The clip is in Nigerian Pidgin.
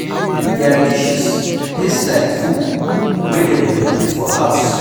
Their dishes taste like food wey dem dey cook for house